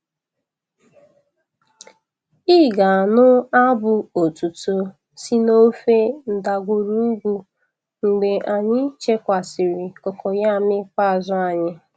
Ị ga-anụ abụ otuto si n'ofe ndagwurugwu mgbe anyị chekwasịrị cocoyam ikpeazụ anyị.